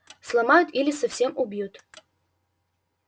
сломают или совсем убьют